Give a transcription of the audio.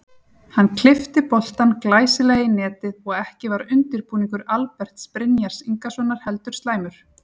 Hann klippti boltann glæsilega í netið og ekki var undirbúningur Alberts Brynjars Ingasonar heldur slæmur.